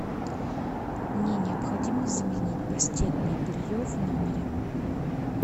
мне необходимо заменить постельное белье в номере